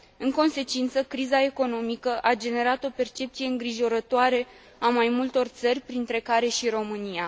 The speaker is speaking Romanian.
În consecință, criza economică a generat o percepție îngrijorătoare a mai multor țări, printre care și România.